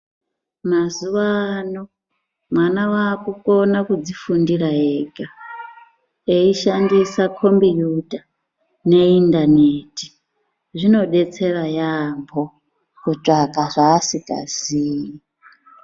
Mazuva ano mwana wakukon kudzifundira ega eishandisa kombuyuta neindaneti .Zvinodetsera yaambo kutsvaka zvaasikazii.